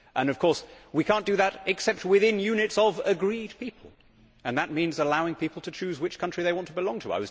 Of course, we cannot do that except within units of agreed people and that means allowing people to choose which country they belong to.